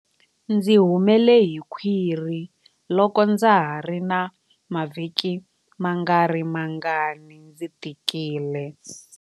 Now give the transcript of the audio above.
Ndzi humele hi khwiri loko ndza ha ri na mavhiki mangarimangani ndzi tikile.